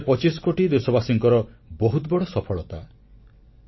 ଏହା ଶହେପଚିଶ କୋଟି ଦେଶବାସୀଙ୍କର ବହୁତ ବଡ଼ ସଫଳତା